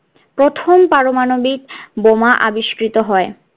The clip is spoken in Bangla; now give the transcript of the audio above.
প্রথম পারমাণবিক বোমা আবিষ্কৃত হয়